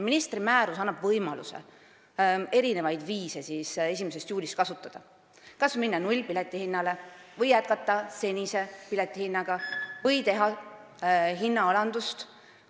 Ministri määrus annab võimaluse kasutada alates 1. juulist erinevaid viise – kas minna nullhinnaga piletile või jätkata senise piletihinnaga või teha hinnaalandust.